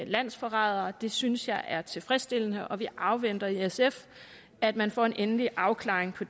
landsforrædere og det synes jeg er tilfredsstillende og vi afventer i sf at man får en endelig afklaring på